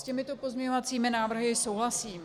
S těmito pozměňovacími návrhy souhlasím.